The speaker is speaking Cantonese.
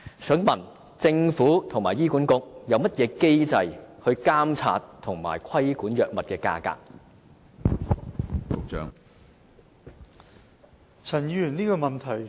請問政府和醫管局究竟有何機制監察及規管藥物價格呢？